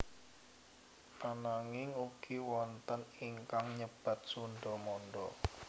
Ananging ugi wonten ingkang nyebat Sundha Mandha